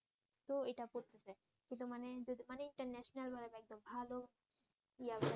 তো এটা পড়তেছে কিন্তু মানে যদি মানেই ইন্টারন্যাশনাল হয়ে একদম ভালো